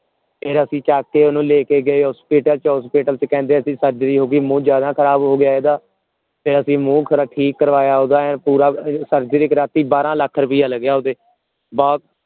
ਤੇ ਫੇਰ ਅਸੀਂ ਓਹਨੂੰ ਚੱਕ ਕੇ ਲੈ ਗਏ hospital ਤੇ hospital ਚ ਕਹਿੰਦੇ surgery ਹੋਊਗੀ ਮੂੰਹ ਜ਼ਯਾਦਾ ਖਰਾਬ ਹੋ ਗਿਆ ਇਹਦਾ ਫੇਰ ਅਸੀਂ ਮੂੰਹ ਠੀਕ ਕਰਵਾਇਆ ਓਹਦਾ ਐਈਂ ਪੂਰਾ surgery ਕਰਾਤੀ ਬਾਰਾਂ ਲੱਖ ਰੁਪਇਆ ਲਗਿਆ ਉਤੇ ਬਹੁਤ